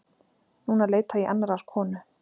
Núna leita ég annarrar konu.